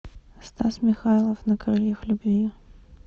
стас михайлов на крыльях любви